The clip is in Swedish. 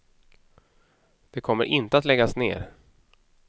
Det kommer inte att läggas ner.